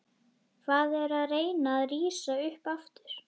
Hann er að reyna að rísa upp aftur.